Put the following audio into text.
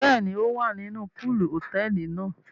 Bẹẹni, o wá nínú poolu hotẹẹli náà